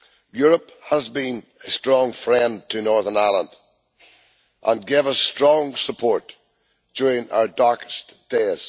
Europe has been a strong friend to Northern Ireland and gave us strong support during our darkest days.